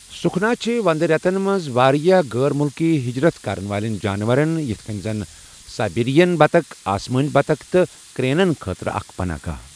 سکھنا چھِ ونٛدٕ رٮ۪تن منٛز واریاہ غٲر مُلکی حجرت کرن والٮ۪ن جانورن یتھ کٔنۍ زن سایبیرین بطخ، آسمٲنۍ بطُخ تہٕ کرٛینَن خٲطرٕ اکھ پناہ گاہ۔